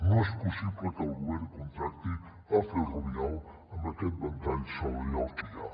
no és possible que el govern contracti a ferrovial amb aquest ventall salarial que hi ha